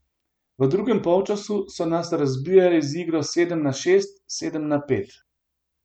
V drugem polčasu so nas razbijali z igro sedem na šest, sedem na pet.